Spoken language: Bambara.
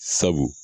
Sabu